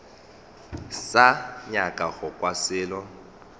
sa nyaka go kwa selo